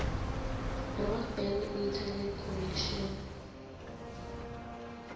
broadband internet connection